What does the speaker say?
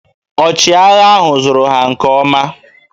Ọchịagha ahụ zụrụ ha nke ọma